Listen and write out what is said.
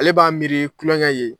Ale b'a miiri tuloŋɛ ye